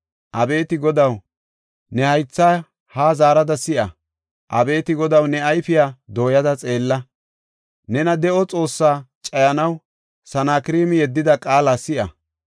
Abeeti Godaw, ne haythaa haa zaarada si7a. Abeeti Godaw, ne ayfiya dooyada xeella. Nena, de7o Xoossaa cayanaw Sanakreemi yeddida qaala si7a.